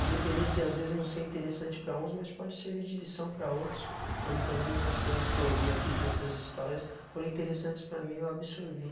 Independente de às vezes não ser interessante para uns, mas pode servir de lição para outros, como também muitas coisas que eu ouvi aqui de outras histórias, foram interessantes para mim e eu absorvi.